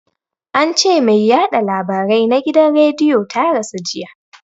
Ance mai yaɗa labarai na gidan rediyo ta rasu jiya